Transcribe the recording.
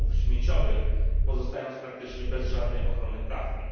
umów śmieciowych, pozostając praktycznie bez żadnej ochrony prawnej.